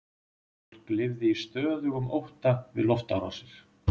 Fólk lifði í stöðugum ótta við loftárásir.